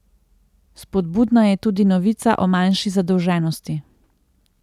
Spodbudna je tudi novica o manjši zadolženosti.